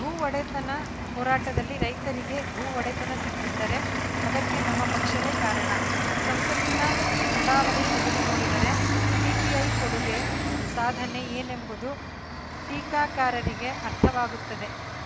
ಭೂ ಒಡೆತನ ಹೋರಾಟದಲ್ಲಿ ರೈತರಿಗೆ ಭೂ ಒಡೆತನ ಸಿಕ್ಕಿದ್ದರೆ ಅದಕ್ಕೆ ನಮ್ಮ ಪಕ್ಷವೇ ಕಾರಣ ಸಂಸತ್ತಿನ ನಡಾವಳಿ ತೆಗೆದು ನೋಡಿದರೆ ಸಿಪಿಐ ಕೊಡುಗೆ ಸಾಧನೆ ಏನೆಂಬುದು ಟೀಕಾಕಾರರಿಗೆ ಅರ್ಥವಾಗುತ್ತದೆ